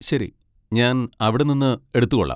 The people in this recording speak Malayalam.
ശരി, ഞാൻ അവിടെനിന്ന് എടുത്തുകൊള്ളാം.